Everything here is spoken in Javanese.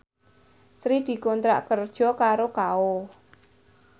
Sri dikontrak kerja karo Kao